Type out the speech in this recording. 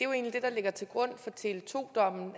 der ligger til grund for tele2 dommen